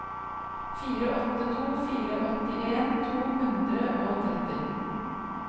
fire åtte to fire åttien to hundre og tretti